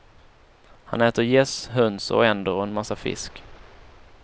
Han äter gäss, höns och änder och en massa fisk.